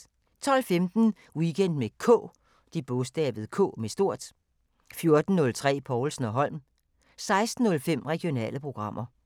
12:15: Weekend med K 14:03: Povlsen & Holm 16:05: Regionale programmer